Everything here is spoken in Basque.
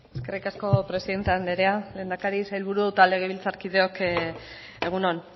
eskerrik asko presidente andrea lehendakari sailburuok eta legebiltzarkideok egun on